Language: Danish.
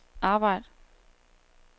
arbejd